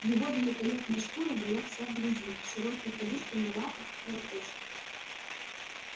его великолепная шкура была вся в грязи широкие подушки на лапах кровоточили